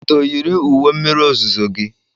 Udo yiri uwe mmiri ozuzo gị.